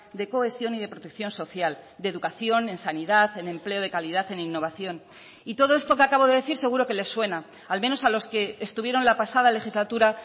de cohesión y de protección social de educación en sanidad en empleo de calidad en innovación y todo esto que acabo de decir seguro que les suena al menos a los que estuvieron la pasada legislatura